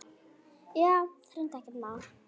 Já, hreint ekkert má.